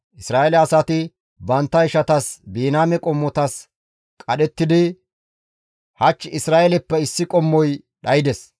Isra7eele asay bantta ishatas, Biniyaame qommotas qadhettidi, «Hach Isra7eeleppe issi qommoy dhaydes.